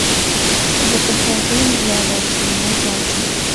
закачай фильм дьявол в голубом платье